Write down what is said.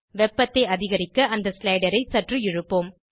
வெப்பத்தை அதிகரிக்க அந்த ஸ்லைடரை சற்று இழுப்போம்